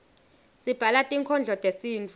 sibhala tinkhondlo tesintfu